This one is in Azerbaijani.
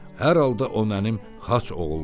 Hər halda o mənim xaç oğulluğumdur.